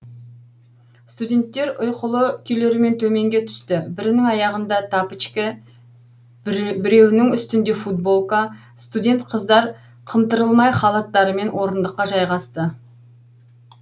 студенттер ұйқылы күйлерімен төменге түсті бірінің аяғында тапочкі біреуінің үстінде футболка студент қыздар қымтырылмай халаттарымен орындыққаа жайғасты